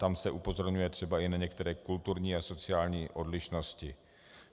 Tam se upozorňuje třeba i na některé kulturní a sociální odlišnosti.